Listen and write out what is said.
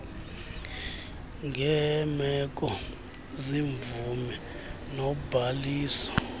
ngeemeko zemvume nobhaliso